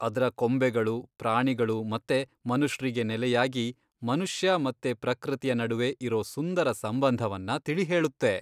ಅದ್ರ ಕೊಂಬೆಗಳು ಪ್ರಾಣಿಗಳು ಮತ್ತೆ ಮನುಷ್ರಿಗೆ ನೆಲೆಯಾಗಿ, ಮನುಷ್ಯ ಮತ್ತೆ ಪ್ರಕೃತಿಯ ನಡ್ವೆ ಇರೋ ಸುಂದರ ಸಂಬಂಧವನ್ನ ತಿಳಿಹೇಳುತ್ತೆ.